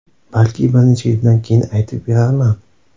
Balki bir necha yildan keyin aytib berarman”.